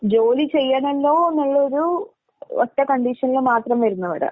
ജോലി ചെയ്യണല്ലോന്നുള്ളൊരു ഒറ്റ കണ്ടീഷനിൽ മാത്രം വരുന്നവരാ.